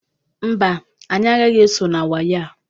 Mba, anyị agaghị eso na wayo a.